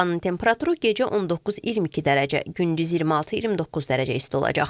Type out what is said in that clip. Havanın temperaturu gecə 19-22 dərəcə, gündüz 26-29 dərəcə isti olacaq.